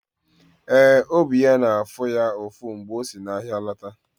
Ee, obi ya nọ na-afụ ya ụfụ mgbe o si n’ahịa lọta.